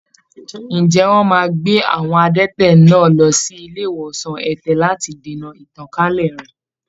Ǹjẹ́ wọ́n máa gbé àwọn adẹ́tẹ̀ náà lọ sí ilé ìwòsan ẹ̀tẹ̀ lati dènà ìtànkálẹ̀ rẹ̀?